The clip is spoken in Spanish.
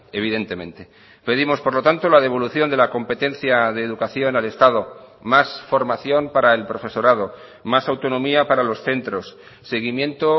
evidentemente pedimos por lo tanto la devolución de la competencia de educación al estado más formación para el profesorado más autonomía para los centros seguimiento